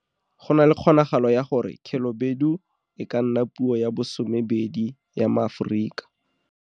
Go na le kgonagalo ya gore Khelobedu e ka nna puo ya bo 12 ya maAforika.